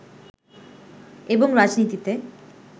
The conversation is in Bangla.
এবং রাজনীতিতে